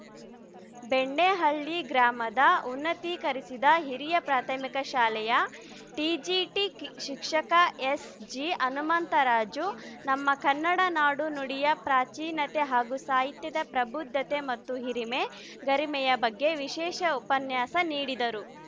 ಬೆಣ್ಣೆಹಳ್ಳಿ ಗ್ರಾಮದ ಉನ್ನತೀಕರಿಸಿದ ಹಿರಿಯ ಪ್ರಾಥಮಿಕ ಶಾಲೆಯ ಟಿಜಿಟಿ ಶಿಕ್ಷಕ ಎಸ್‌ಜಿ ಹನುಮಂತರಾಜು ನಮ್ಮ ಕನ್ನಡ ನಾಡು ನುಡಿಯ ಪ್ರಾಚೀನತೆ ಹಾಗೂ ಸಾಹಿತ್ಯದ ಪ್ರಬುದ್ಧತೆ ಮತ್ತು ಹಿರಿಮೆ ಗರಿಮೆಯ ಬಗ್ಗೆ ವಿಶೇಷ ಉಪನ್ಯಾಸ ನೀಡಿದರು